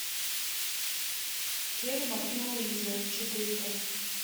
тельма и луиза четырка